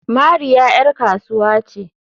Mariya ƴar kasuwa ce.